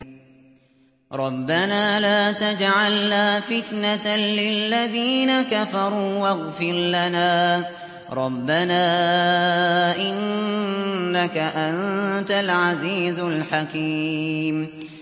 رَبَّنَا لَا تَجْعَلْنَا فِتْنَةً لِّلَّذِينَ كَفَرُوا وَاغْفِرْ لَنَا رَبَّنَا ۖ إِنَّكَ أَنتَ الْعَزِيزُ الْحَكِيمُ